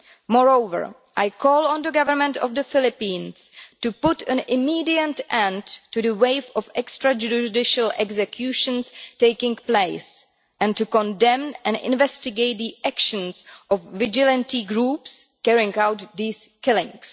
Moreover, I call on the government of the Philippines to put an immediate end to the wave of extrajudicial executions taking place, and to condemn and investigate the actions of vigilante groups carrying out these killings.